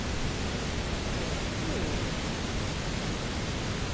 Hver ert þú eiginlega?